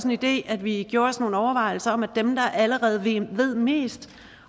en idé at vi gjorde os nogle overvejelser om at dem der allerede ved mest